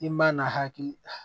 I man na hakili